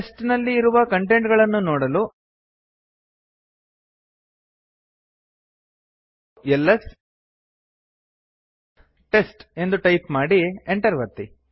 test ನಲ್ಲಿ ಇರುವ content ಗಳನ್ನು ನೋಡಲು ಎಲ್ಎಸ್ ಟೆಸ್ಟ್ ಎಂದು ಟೈಪ್ ಮಾಡಿ enter ಒತ್ತಿ